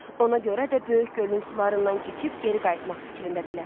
Ona görə də böyük gölün sularından keçib geri qayıtmaq fikrindədirlər.